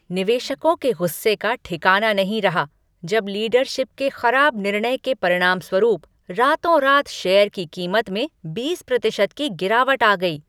निवेशकों के गुस्से का ठिकाना नहीं रहा जब लीडरशिप के खराब निर्णय के परिणामस्वरूप रातोंरात शेयर की कीमत में बीस प्रतिशत की गिरावट आ गई।